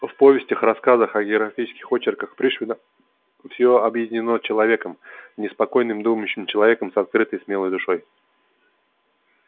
в повестях рассказах о географических очерках пришвина всё объединено человеком неспокойным думающим человеком с открытой смелой душой